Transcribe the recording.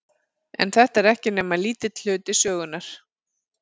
En þetta er ekki nema lítill hluti sögunnar.